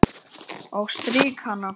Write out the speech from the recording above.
Og strýk hana.